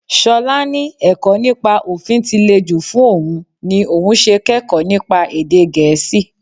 Ṣọlá ní ẹ̀kọ́ nípa òfin tí le jù fún òun ní òun ṣe kẹ́kọ̀ọ́ nípa èdè Gẹ̀ẹ́sì